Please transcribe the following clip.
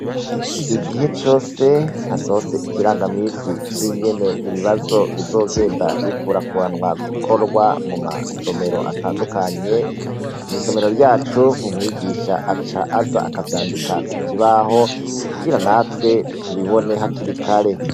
Igihe cose hasohotse ikirangaminsi c'ingene ibibazo bizogenda bikurakuranwa gukorwa mu masomero atandukanye, mw'isomero ryacu umwigisha wacu aca aza akavyandika ku kibaho kugira natwe tubibone hakiri kare.